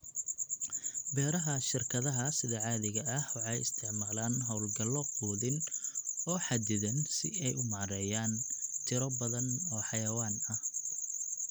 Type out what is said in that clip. Beeraha shirkadaha sida caadiga ah waxay isticmaalaan hawlgallo quudin oo xaddidan si ay u maareeyaan tiro badan oo xayawaan ah.